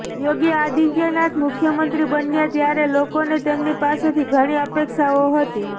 યોગી આદિત્યનાથ મુખ્યમંત્રી બન્યા ત્યારે લોકોને તેમની પાસેથી ઘણી અપેક્ષાઓ હતી